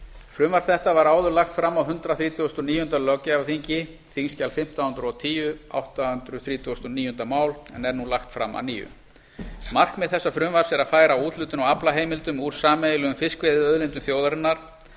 frumvarp þetta var áður lagt fram á hundrað þrítugasta og níunda löggjafarþingi en er nú lagt fram að nýju markmið þessa frumvarps er að færa úthlutun á aflaheimildum úr sameiginlegum fiskveiðiauðlindum þjóðarinnar